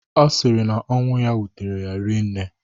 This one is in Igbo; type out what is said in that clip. Ọ sịrị na ọnwụ ya wutere ya rii nne